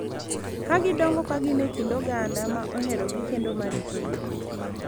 Ka gidongo ka gin e kind oganda ma oherogi kendo ma ritogi.